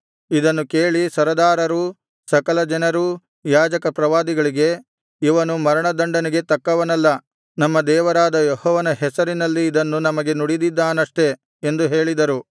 ಇದನ್ನು ಕೇಳಿ ಸರದಾರರೂ ಸಕಲ ಜನರೂ ಯಾಜಕ ಪ್ರವಾದಿಗಳಿಗೆ ಇವನು ಮರಣ ದಂಡನೆಗೆ ತಕ್ಕವನಲ್ಲ ನಮ್ಮ ದೇವರಾದ ಯೆಹೋವನ ಹೆಸರಿನಲ್ಲಿ ಇದನ್ನು ನಮಗೆ ನುಡಿದಿದ್ದಾನಷ್ಟೆ ಎಂದು ಹೇಳಿದರು